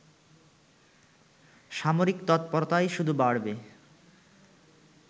সামরিক তৎপরতাই শুধু বাড়বে